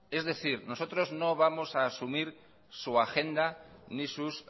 es decir nosotros no vamos a asumir su agenda ni sus